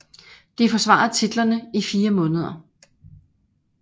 De forsvarede titlerne i 4 måneder